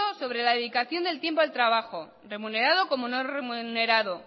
sobre la dedicación del tiempo al trabajo remunerado como no remunerado